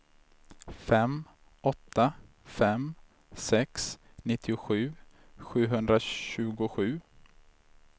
fem åtta fem sex nittiosju sjuhundratjugosju